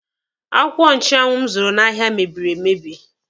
Akwụkwọ nchụanwụ m zụrụ n'ahịa mebiri emebi.